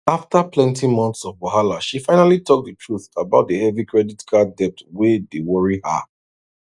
after plenty months of wahala she finally talk the truth about the heavy credit card debt wey dey worry her